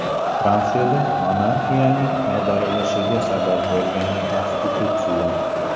Fransiyada monarxiyaning ag‘darilishiga sabab bo‘lgan konstitutsiya.